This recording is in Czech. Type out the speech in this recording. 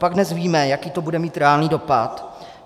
Copak dnes víme, jaký to bude mít reálný dopad?